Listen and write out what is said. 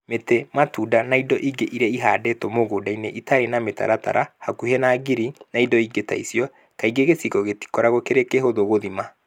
mĩtĩ, matunda, na indo ingĩ iria ihandĩtwo mũgũnda-inĩ itarĩ na mĩtaratara, hakuhĩ na ngiri, na indo ingĩ ta icio; kaingĩ gĩcigo gĩtikoragwo kĩrĩ kĩhũthũ gũthima